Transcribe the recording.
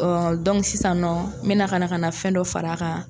Ɔ bɔn dɔnku sisan nɔn, n bɛna ka na fɛn dɔ far'a kan